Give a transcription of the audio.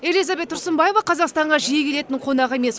элизабет тұрсынбаева қазақстанға жиі келетін қонақ емес